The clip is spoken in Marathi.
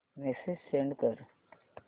मेसेज सेंड कर